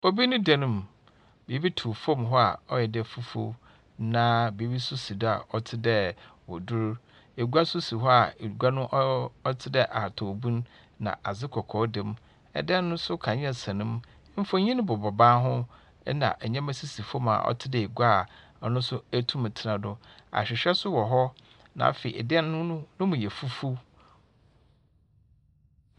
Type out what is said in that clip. Obi ne dan mu. Biribi tuw fam hɔ a ɔyɛ dɛ fufuo, na biribi nso si do a ɔte dɛ waduru. Egua nso si hɔ a egua no ɔɔ ɔtedɛ ahataw bunu, na adze kɔkɔɔ dam. Dan no nso kanea sɛn mu. Mfonin bobɔ dan ho, ɛnna nneɛma sisi fam a ɔte dɛ egua a ɔno nso etumi tsena do. Ahwehwɛ nso wɔ hɔ, na afei dan no no ne mu yɛ fufuw.